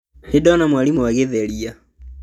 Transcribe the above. Nĩndona mwarimũ agĩtheria